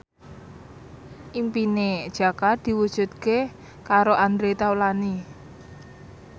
impine Jaka diwujudke karo Andre Taulany